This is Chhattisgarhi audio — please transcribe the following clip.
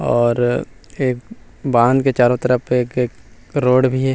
और एक बांध के चारो तरफ एक - एक रोड भी हे।